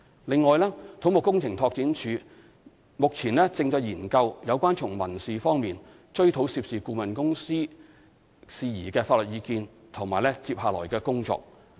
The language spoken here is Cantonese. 另外，土木工程拓展署目前正在研究有關從民事方面追討涉事顧問公司事宜的法律意見及接下來的工作。